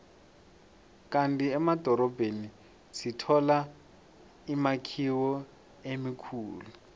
kandi emadorobheni sithola imakhiwo emikhulu